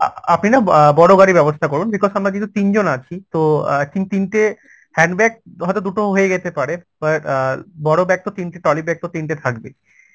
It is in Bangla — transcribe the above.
আপনি না অ্যাঁ বড় গাড়ির ব্যবস্থা করুন because আমরা যেহেতু তিনজন আছি তো অ্যাঁ i think তিনটে hand bag হয়তো দুটো হয়ে যেতে পারে but অ্যাঁ বড় bag তো তিনটে trolley bag তো তিনটে থাকবে